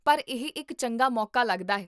ਪਰ ਇਹ ਇੱਕ ਚੰਗਾ ਮੌਕਾ ਲੱਗਦਾ ਹੈ